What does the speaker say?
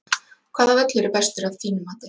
Hvaða völlur er bestur af þínu mati?